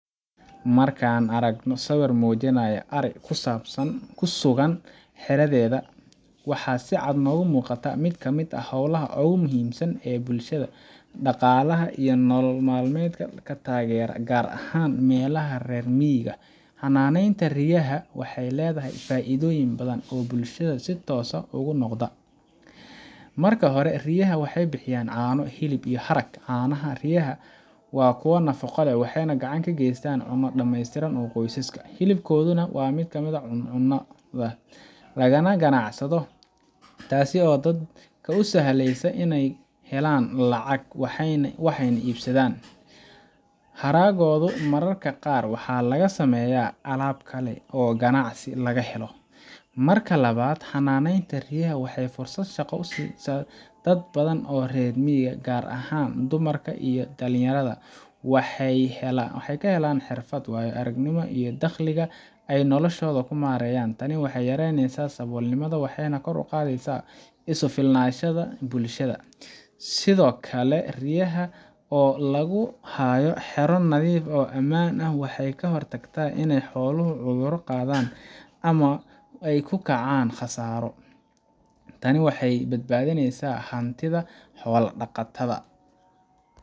Marka aan aragno sawir muujinaya ari ku sugan xeradeeda, waxaa si cad noogu muuqata mid ka mid ah hawlaha ugu muhiimsan ee bulshada dhaqaalaha iyo nolol maalmeedka ka taageera, gaar ahaan meelaha reer miyiga ah. Xanaaneynta riyaha waxay leedahay faa’iidooyin badan oo bulshada si toos ah ugu soo noqda. Marka hore, riyaha waxay bixiyaan caano, hilib, iyo harag. Caanaha riyaha waa kuwo nafaqo leh, waxayna gacan ka geystaan cunno dhameystiran oo qoysaska ah. Hilibkooduna waa mid la cuno, lagana ganacsado, taas oo dadka u sahleysa inay lacag helaan, waxna iibsadaan. Haraggoodana mararka qaar waxaa laga sameeyaa alaab kale oo ganacsi laga helo. Marka labaad, xanaaneynta riyaha waxay fursad shaqo u sisaa dad badan oo reer miyi ah, gaar ahaan dumarka iyo dhallinyarada. Waxay ka helaan xirfad, waayo-aragnimo iyo dakhliga ay noloshooda ku maareeyaan. Tani waxay yaraysaa saboolnimada waxayna kor u qaadaa isku filnaanshaha bulshada. Sidoo kale, riyaha oo lagu hayo xero nadiif ah oo ammaan ah waxay ka hortagtaa inay xooluhu cudurro qaadaan ama ay ku kacaan khasaaro. Tani waxay badbaadisaa hantida xoola-dhaqatada,